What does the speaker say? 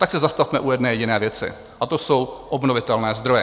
Tak se zastavme u jedné jediné věci a to jsou obnovitelné zdroje.